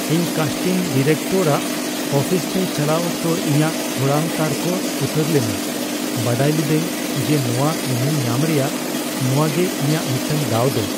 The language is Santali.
ᱤᱧ ᱠᱟᱥᱴᱤᱝ ᱰᱤᱨᱮᱠᱴᱚᱨ ᱟᱜ ᱚᱯᱷᱤᱥ ᱛᱮ ᱪᱟᱞᱟᱜ ᱚᱠᱛᱚ ᱤᱧᱟᱜ ᱠᱚᱲᱟᱢ ᱛᱟᱨᱠᱚ ᱩᱛᱟᱹᱨ ᱞᱮᱱᱟ, ᱵᱟᱰᱟᱭ ᱞᱤᱫᱟᱹᱧ ᱡᱮ ᱱᱚᱶᱟ ᱮᱱᱮᱢ ᱧᱟᱢ ᱨᱮᱭᱟᱜ ᱱᱚᱶᱟ ᱜᱮ ᱤᱧᱟᱜ ᱢᱤᱫᱴᱟᱝ ᱫᱟᱣ ᱫᱚ ᱾